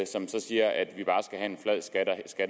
som så siger at vi bare